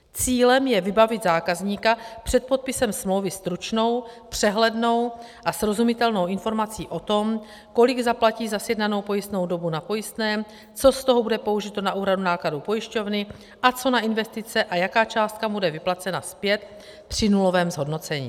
Cílem je vybavit zákazníka před podpisem smlouvy stručnou, přehlednou a srozumitelnou informací o tom, kolik zaplatí za sjednanou pojistnou dobu na pojistném, co z toho bude použito na úhradu nákladů pojišťovny a co na investice a jaká částka bude vyplacena zpět při nulovém zhodnocení.